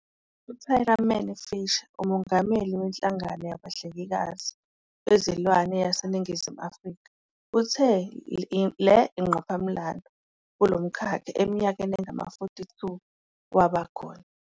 U-Tariman Fisher, uMongameli weNhlangano Yabahlengikazi Bezilwane yaseNingizimu Afrika, uthi le yingqophamlando kulo mkhakha eminyakeni engama-42 waba khona.